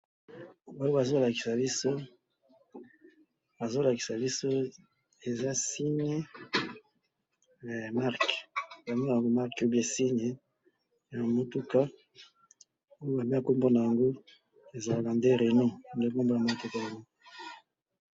awa ezo lakisa biso eza singe ya marque au bien eza singe ya mutuka